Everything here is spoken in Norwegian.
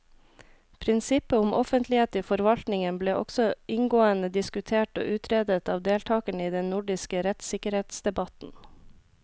Prinsippet om offentlighet i forvaltningen ble også inngående diskutert og utredet av deltakerne i den nordiske rettssikkerhetsdebatten.